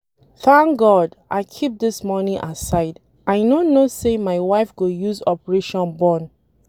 Thank God I keep dis money aside I no know say my wife go use operation born